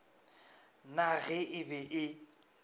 na ge e be e